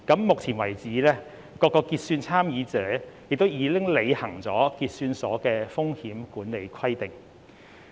目前為止，各個結算參與者亦已履行結算所的風險管理規定。